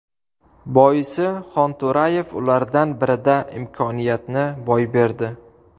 Boisi Xonto‘rayev ulardan birida imkoniyatni boy berdi.